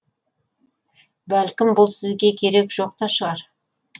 бәлкім бұл сізге керек жоқ та шығар